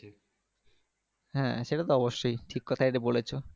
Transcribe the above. হ্যাঁ সেটাতো অবশ্যই ঠিক কথাই তো বলেছো